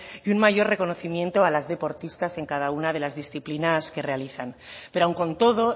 y un mayor reconocimiento a las deportistas en cada una de las disciplinas que realizan pero aún con todo